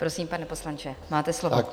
Prosím, pane poslanče, máte slovo.